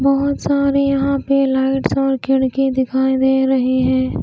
बहुत सारे यहां पे लाइट्स और खिड़की दिखाई दे रही है।